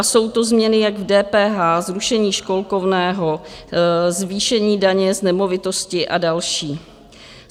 A jsou to změny jak v DPH, zrušení školkovného, zvýšení daně z nemovitosti a další.